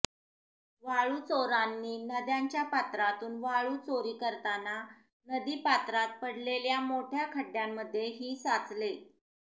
वाळू चोरांनी नद्यांच्या पात्रातून वाळू चोरी करताना नदी पात्रात पडलेल्या मोठया खड्डयांमध्ये ही साचले